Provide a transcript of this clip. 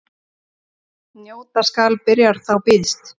Njóta skal byrjar þá býðst.